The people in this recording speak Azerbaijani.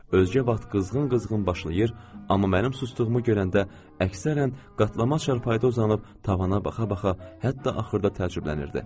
Özgə vaxt qızğın-qızğın başlayır, amma mənim sustuğumu görəndə əksərən qatlama çarpayıda uzanıb tavana baxa-baxa hətta axırda təcrübələnirdi.